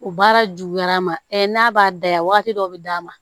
O baara juguyara n ma n'a b'a daya wagati dɔ be d'a ma